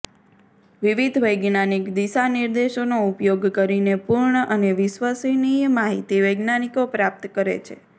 વિવિધ વૈજ્ઞાનિક દિશા નિર્દેશોનો ઉપયોગ કરીને પૂર્ણ અને વિશ્વસનીય માહિતી વૈજ્ઞાનિકો પ્રાપ્ત કરે છે